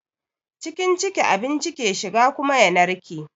Cikin ciki abinci ke shiga kuma ya narke.